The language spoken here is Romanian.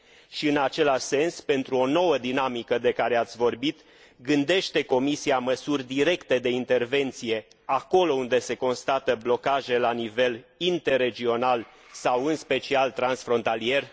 Și în același sens, pentru o nouă dinamică de care ați vorbit, gândește Comisia măsuri directe de intervenție acolo unde se constată blocaje la nivel interregional sau în special transfrontalier?